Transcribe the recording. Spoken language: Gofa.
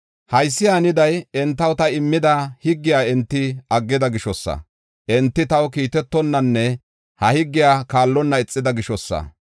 “Haysi haniday, entaw ta immida higgiya enti aggida gishosa. Enti taw kiitetonanne ha higgiya kaallonna ixida gishosa.